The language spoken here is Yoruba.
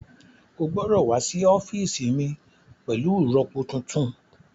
Ó gbọ́dọ̀ wá sí ọ́fíìsì mi pẹ̀lú ìrọpo tuntun